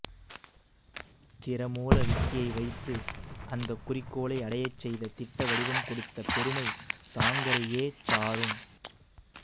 திறமூல விக்கியை வைத்து அந்தக் குறிக்கோளை அடையச் செய்த திட்டவடிவம் கொடுத்த பெருமை சாங்கரையேச் சாரும்